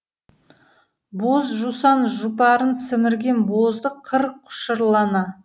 боз жусан жұпарын сімірген боздақ қыр құшырлана